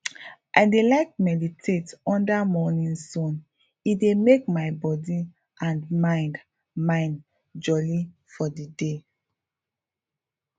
i dey like meditate under morning sun e dey make my body and mind mind jolly for the day